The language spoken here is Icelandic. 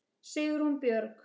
Sigrún Björg.